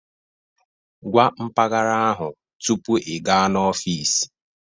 Gwa mpaghara ahụ tupu ị gaa n'ọfịs